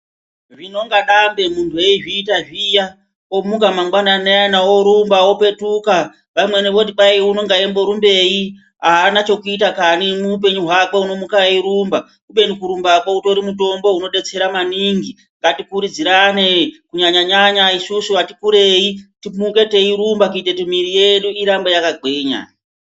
Rinonga dambe munhu eizviita zviya. Omuka mangwanani ayana orumba opetuka vamweni voti kwai unenge eimborumbei aana chokuita kani muupenyu hwakwe unomuka eirumba kubeni kurumbakwo utori mutombo unodetsera maningi ngatikurudzirane Kunyanyanyanya isusu ati kurei timuke teirumba kuita kuti mwiri yedu irambe yakagwinya.